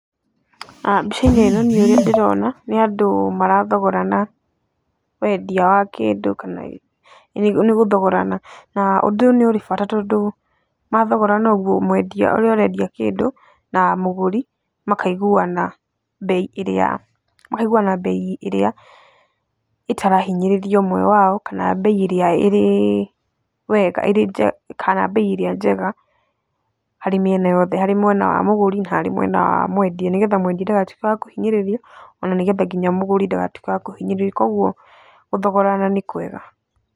Mbica-inĩ ĩno niĩ ũrĩa niĩ ndĩrona nĩ andũ marathogorana wendia wa kĩndũ kana nĩ gũthogorana, na ũndũ ũyũ ũrĩ bata tondũ mathogorana ũgũo, mwendia ũrĩa ũrendia kĩndũ na mũgũri makaiguana bei ĩrĩa, makaiguana bei ĩrĩa ĩtarahinyĩrĩria ũmwe wao kana bei ĩrĩa ĩrĩ njega harĩ mĩena yothe, harĩ mwena wa mũgũri na harĩ mwena wa mwendia, nĩgetha mwendia ndagatuĩke wa kũhinyĩrĩrio o na nĩ getha nginya mũgũri ndagatuĩke wakũhinyĩrĩrio. koguo gũthogorana nĩ kwega.